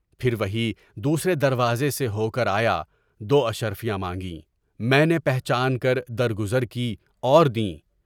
پھر وہی دوسرے دروازے سے ہو کر آیا، دواشرفیاں مانگیں۔ میں نے پہچان کر در گزر کی اور دیں۔